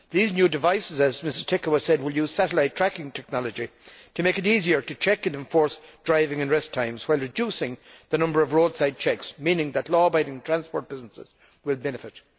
These new devices, as Ms Ţicău has said, will use satellite tracking technology to make it easier to check and enforce driving and rest times while reducing the number of roadside checks, meaning that law abiding transport businesses will benefit.